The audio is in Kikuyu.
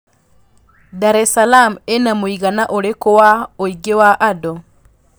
daressalaam ĩna mũigana ũrikũ wa ũingĩ wa andũ